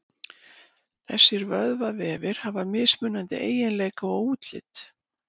Þessir vöðvavefir hafa mismunandi eiginleika og útlit.